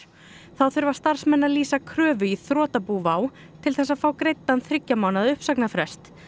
þá þurfa starfsmenn að lýsa kröfu í þrotabú WOW til þess að fá greiddan þriggja mánaða uppsagnarfrest